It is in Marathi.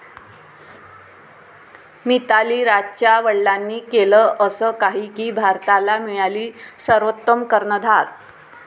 मिताली राजच्या वडिलांनी केलं असं काही की भारताला मिळाली सर्वोत्तम कर्णधार